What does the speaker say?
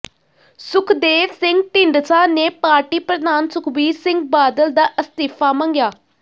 ਸੁਖਦੇਵ ਸਿੰਘ ਢੀਂਡਸਾ ਨੇ ਪਾਰਟੀ ਪ੍ਰਧਾਨ ਸੁਖਬੀਰ ਸਿੰਘ ਬਾਦਲ ਦਾ ਅਸਤੀਫ਼ਾ ਮੰਗਿਆ